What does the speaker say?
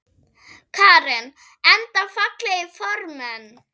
Karen: Enda fallegir formenn?